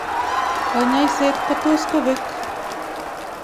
kanyaishet kotus kopek